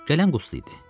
Gələn Qusli idi.